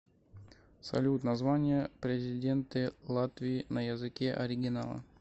салют название президенты латвии на языке оригинала